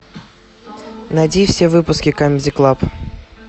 найди все выпуски камеди клаб